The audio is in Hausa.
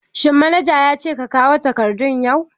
Shin manaja ya ce ka kawo takardu yau?